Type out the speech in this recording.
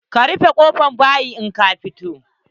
Ka rufe kofan bayi in ka fito.